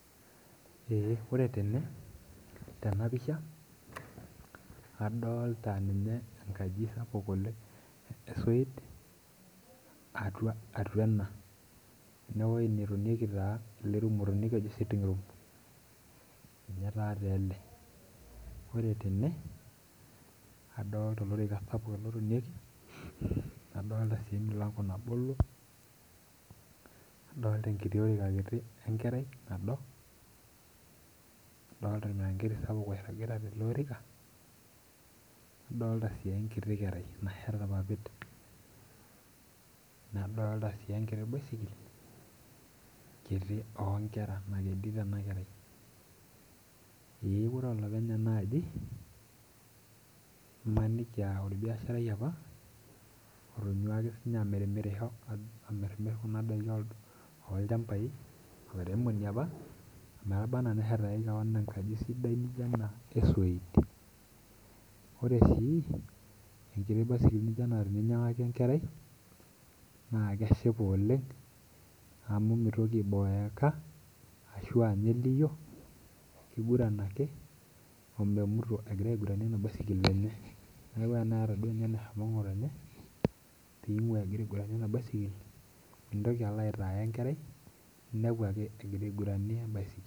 Eeh ore tene tena pisha adolta ninye enkaji sapuk oleng esoit atua atua ena enewoi netonieki taa ele rumu otonieki oji sitting room ninye taate ele ore tene adolta olorika sapuk ele otonieki adolta sii emilango nabolo nadolta enkiti oika kiti enkerai nado adolta oormiranketi sapuk oirragita tele orika nadolta sii enkiti kerai nasheta irpapit nadolta sii enkiti baisikil kiti onkera nakedito ena kerai eyieu oore olopeny ena aji imaniki aa orbiasharai apa otonyua ake sinye amirimirisho amirrimir kuna daiki olchambai olairemoni apa ometaba anaa neshetaki kewon enkaji sidai nijio ena esoit ore sii enkiti basikil nijio ena teninyiang'aki enkerai naa keshipa oleng amu mitoki aiboeka ashu anya eliyio kiguran ake omemuto egira aiguranie ena baisikil neku eneeta duo ninye eneshomo ng'otonye ping'ua egira aiguranie ena basikil mintoki alo aitaya enkerai inepu ake egira aiguranie embasikil.